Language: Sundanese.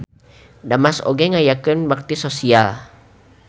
Damas oge ngayakeun bakti sosial.